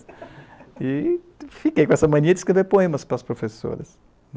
E fiquei com essa mania de escrever poemas para as professoras.